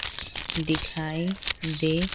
दिखाई दे।